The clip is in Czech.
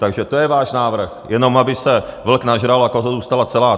Takže to je váš návrh, jenom aby se vlk nažral a koza zůstala celá.